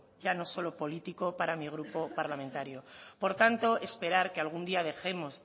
ya no solo político para mi grupo parlamentario por tanto esperar que algún día dejemos